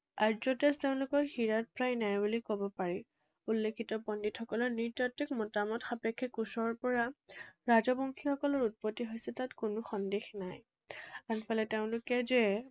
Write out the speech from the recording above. আৰ্য তেজ তেওঁলোকৰ সিৰত প্ৰায় নাই বুলি কব পাৰি। উল্লেখিত পণ্ডিতসকলৰ নৃতাত্ত্বিক মতামত সাপেক্ষে কোচৰ পৰা ৰাজবংশীসকলৰ উৎপত্তি হৈছে তাত কোনো সন্দেহ নাই। আনফালে তেওঁলোকে যে